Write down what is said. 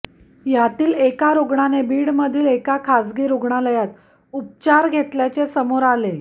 यातील एका रुग्णाने बीडमधील एका खासगी रुग्णालयात उपचार घेतल्याचे समोर आले